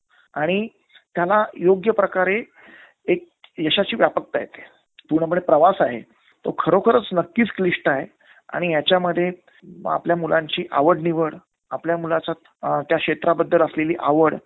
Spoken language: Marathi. आणि त्याला योग्य प्रकारे एक यशाची व्यापकता येते. पूर्णपणे प्रवास आहे तो खरोखरंच नक्कीच क्लिष्ट आहे. आणि याच्यामध्ये आपल्या मुलांची आवड निवड, आपल्या मुलाचं त्या क्षेत्राबद्दल असलेली आवड